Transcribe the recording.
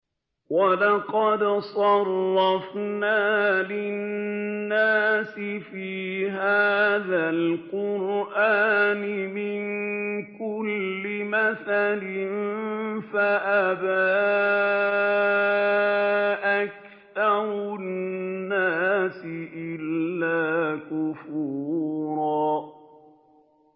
وَلَقَدْ صَرَّفْنَا لِلنَّاسِ فِي هَٰذَا الْقُرْآنِ مِن كُلِّ مَثَلٍ فَأَبَىٰ أَكْثَرُ النَّاسِ إِلَّا كُفُورًا